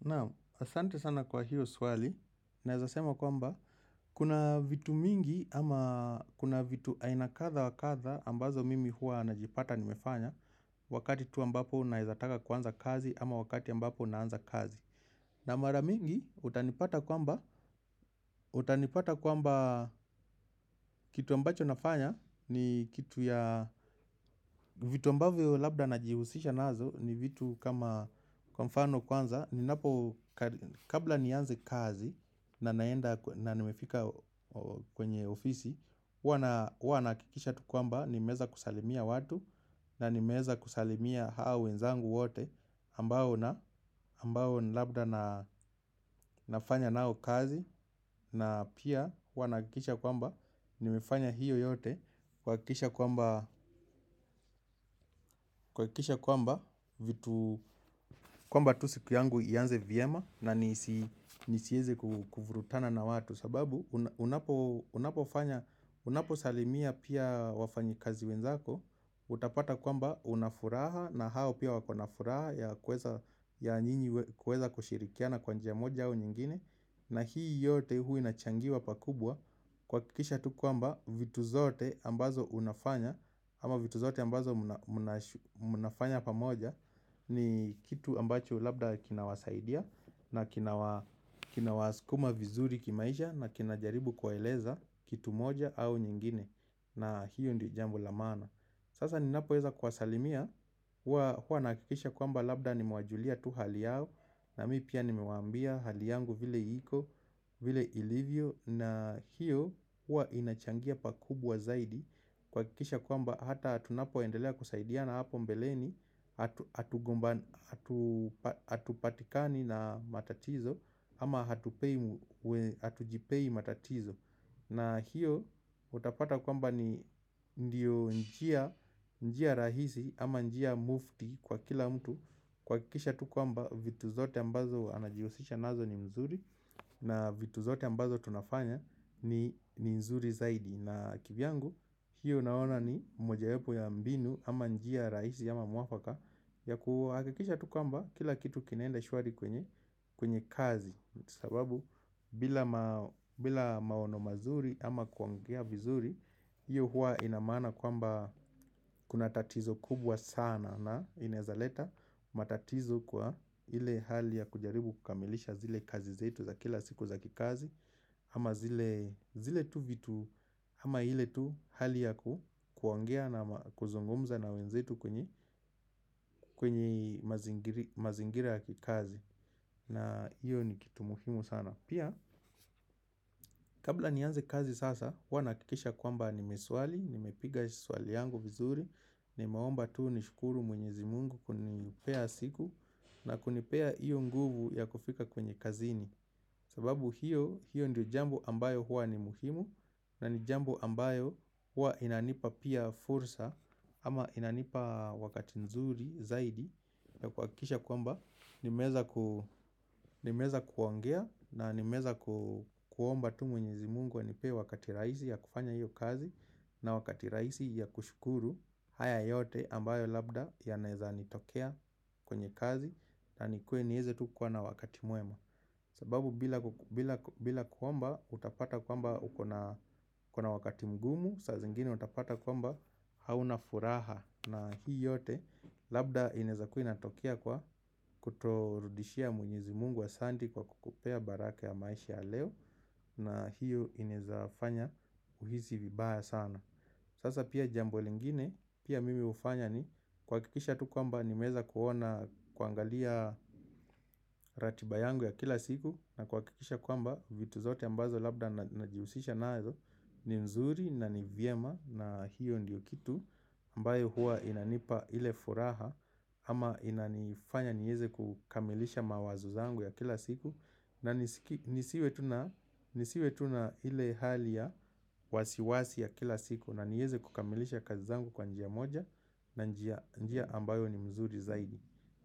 Na, asante sana kwa hiyo swali, naeza sema kwamba, kuna vitu mingi ama kuna vitu aina kadha wa kadha ambazo mimi huwa najipata nimefanya Wakati tu ambapo naeza taka kuanza kazi ama wakati ambapo naanza kazi na mara mingi, utanipata kwamba, utanipata kwamba kitu ambacho nafanya ni kitu ya vitu ambavyo labda najihusisha nazo ni vitu kama kwa mfano kwanza kabla nianze kazi na naenda na nimefika kwenye ofisi huwa nahakikisha tu kwamba nimeweza kusalimia watu na nimeweza kusalimia hao wenzangu wote ambao na ambao ni labda nafanya nao kazi na pia huwa nahakikisha kwamba nimefanya hiyo yote kuhakikisha kwamba kuhakikisha kwamba kwamba tu siku yangu ianze vyema na nisieze kuvurutana na watu sababu unaposalimia pia wafanyi kazi wenzako Utapata kwamba una furaha na hao pia wako na furaha ya nyinyi kuweza kushirikiana kwa njia moja au nyingine na hii yote huwa inachangiwa pakubwa kuhakikisha tu kwamba vitu zote ambazo unafanya Ama vitu zote ambazo unafanya pamoja ni kitu ambacho labda kinawasaidia na kinawasukuma vizuri kimaisha na kinajaribu kuwaeleza kitu moja au nyingine na hiyo ndio jambo la maana Sasa ninapoweza kuwasalimia huwa nahakikisha kwamba labda nimewajulia tu hali yao na mimi pia nimewaambia hali yangu vile iko vile ilivyo na hiyo huwa inachangia pakubwa zaidi kuhakikisha kwamba hata tunapoendelea kusaidiana hapo mbeleni hatupatikani na matatizo Ama hatujipei matatizo na hiyo utapata kwamba ni ndio njia rahisi ama njia mufti kwa kila mtu kuhakikisha tu kwamba vitu zote ambazo anajiosisha nazo ni mzuri na vitu zote ambazo tunafanya ni mzuri zaidi na kivyangu hiyo naona ni moja wapo ya mbinu ama njia rahisi ama mwafaka ya kuhakikisha tu kwsmba kila kitu kinaenda shwari kwenye kazi sababu bila maono mazuri ama kuongea vizuri hiyo huwa ina maana kwamba kuna tatizo kubwa sana na inaezaleta matatizo kwa ile hali ya kujaribu kukamilisha zile kazi zetu za kila siku za kikazi Ama zile tu vitu ama ile tu hali ya ku kuongea na kuzungumza na wenzetu kwenye mazingira kikazi na hiyo ni kitu muhimu sana Pia kabla nianze kazi sasa huwa nahakikisha kwamba nimeswali nimepiga swali yangu vizuri Nimeomba tu nishukuru mwenyezi mungu kunipea siku na kunipea hiyo nguvu ya kufika kwenye kazini sababu hiyo hiyo ndio jambo ambayo huwa ni muhimu na ni jambo ambayo huwa inanipa pia fursa Ama inanipa wakati mzuri zaidi na kuhakikisha kwamba nimeweza kuongea na nimeweza kuomba tu mwenyezi mungu anipe wakati rahisi ya kufanya hiyo kazi na wakati rahisi ya kushukuru haya yote ambayo labda yanaeza nitokea kwenye kazi na nikuwe niweze tu kuwa na wakati mwema sababu bila kuomba utapata kwamba uko na wakati mgumu, saa zingine utapata kwamba hauna furaha na hii yote labda inaweza kuwa inatokea kwa kutorudishia mwenyezi mungu asante kwa kukupea baraka ya maisha leo na hiyo inaezafanya uhisi vibaya sana. Sasa pia jambo lingine pia mimi hufanya ni kuhakikisha tu kwamba nimeweza kuona kuangalia ratiba yangu ya kila siku na kuhakikisha kwamba vitu zote ambazo labda najihusisha nazo ni mzuri na ni vyema na hiyo ndiyo kitu ambayo huwa inanipa ile furaha ama inanifanya niweze kukamilisha mawazo zangu ya kila siku na nisiwe tu na ile hali ya wasiwasi ya kila siku na niweze kukamilisha kazi zangu kwa njia moja na njia ambayo ni mzuri zaidi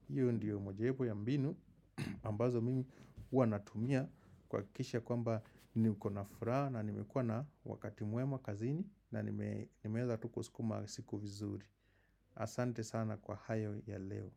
hiyo ndiyo mojawapo ya mbinu ambazo mimi huwa natumia kuhakikisha kwamba niko na furaha na nimekuwa na wakati mwema kazini na nimeweza tu kusukuma siku mzuri Asante sana kwa hayo ya leo.